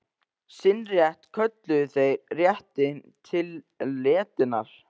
Sinn rétt kölluðu þeir réttinn til letinnar.